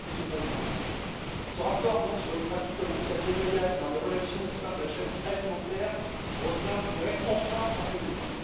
Monsieur le Président, ce rapport sur les pratiques commerciales déloyales dans les relations au sein de la chaîne alimentaire revient je dirais enfin en plénière.